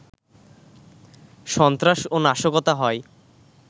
সন্ত্রাস ও নাশকতা হয়